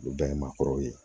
Olu bɛɛ ye maakɔrɔw ye